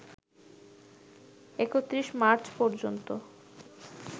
৩১ March পর্যন্ত